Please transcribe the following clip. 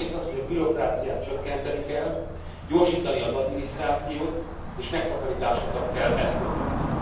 Egyrészt arra, hogy a bürokráciát csökkenteni kell, gyorsítani az adminisztrációt és megtakarításokat kell eszközölni.